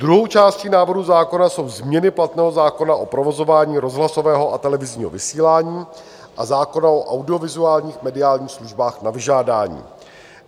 Druhou částí návrhu zákona jsou změny platného zákona o provozování rozhlasového a televizního vysílání a zákona o audiovizuálních mediálních službách na vyžádání.